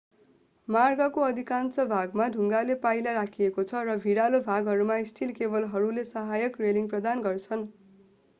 मार्गको अधिकांश भागमा ढुङ्गाको पाइला राखिएको छ र भिरालो भागहरूमा स्टील केबलहरूले सहायक रेलिङ प्रदान गर्छन्